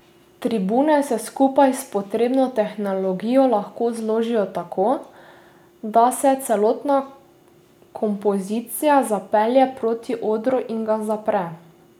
Tribune se skupaj s potrebno tehnologijo lahko zložijo tako, da se celotna kompozicija zapelje proti odru in ga zapre.